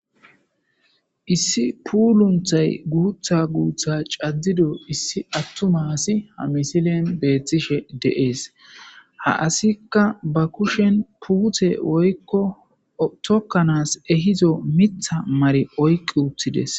Issi puulunththa aadhdhi aadhi cadido atuma assay ha misiley besees. Ha asaykka ba kushen puute woyiko tokanasi ehizo mitha mari oykkides.